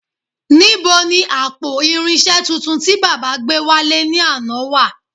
Nibo ni àpò irinṣẹ́ tuntun tí baba gbé wálé ní àná wà